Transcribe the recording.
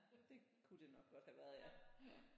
Det kunne det nok godt have været ja